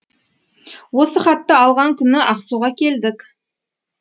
осы хатты алған күні ақсуға келдік